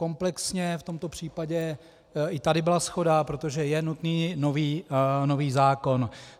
Komplexně v tomto případě i tady byla shoda, protože je nutný nový zákon.